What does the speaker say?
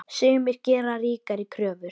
Sumir gera ríkari kröfur.